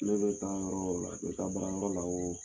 Ne bɛ o la, a tɛ baara yɔrɔ la o